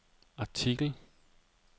artikel